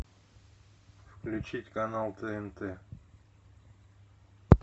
включить канал тнт